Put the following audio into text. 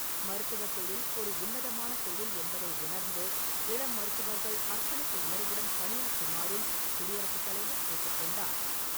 மருத்துவத் தொழில் ஒரு உன்னதமான தொழில் என்பதை உணர்ந்து இளம் மருத்துவர்கள் அர்ப்பணிப்பு உணர்வுடன் பணியாற்றுமாறும் குடியரசுத் தலைவர் கேட்டுக்கொண்டார் .